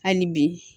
Hali bi